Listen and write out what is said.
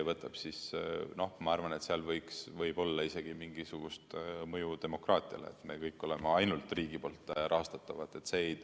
Ma arvan, et seal võib olla isegi mingisugust mõju demokraatiale, kui me kõik oleme ainult riigi poolt rahastatavad.